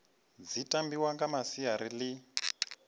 dzi tambiwa nga masiari ḽi